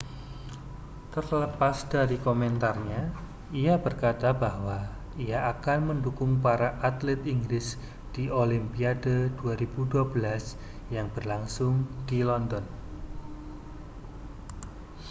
terlepas dari komentarnya ia berkata bahwa ia akan mendukung para atlet inggris di olimpiade 2012 yang berlangsung di london